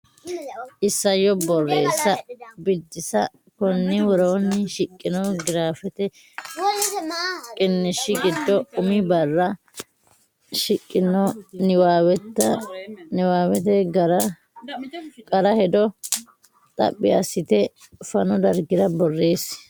Isayyo Borreessa Biddissa Konni woroonni shiqino giraafete qiniishshi giddo umi barra shiqqino niwaaweta qara hedo xaphi assite fanu dargira borreessi.